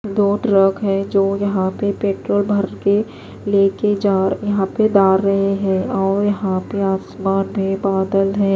दो ट्रक हैजो यहां पे पेट्रोल भरके लेके जा यहां पे दार रहे हैंऔर यहां पे आसमान मे बादल हैं।